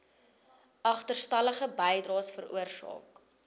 agterstallige bydraes veroorsaak